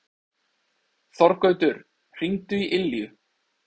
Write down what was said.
Þorgautur, hringdu í Ylju.